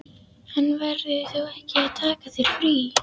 En verður þú ekki að taka þér frí?